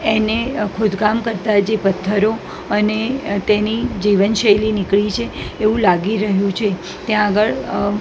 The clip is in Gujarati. એને ખોદકામ કરતા જે પથ્થરો અને તેની જે જીવન શૈલી નીકળી છે એવુ લાગી રહ્યુ છે ત્યાં આગળ અ--